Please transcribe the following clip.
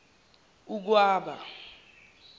ukwaba